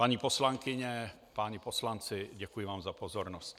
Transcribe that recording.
Paní poslankyně, páni poslanci, děkuji vám za pozornost.